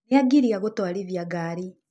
Nĩangiria gũtwarithia ngari.